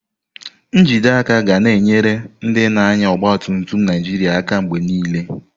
Njide aka ga na-enye ndị na-anya ọgba tum tum Naijiria aka mgbe niile.